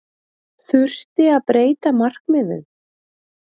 Þurfti að breyta markmiðum?